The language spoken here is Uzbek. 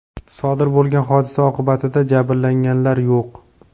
Sodir bo‘lgan hodisa oqibatida jabrlanganlar yo‘q.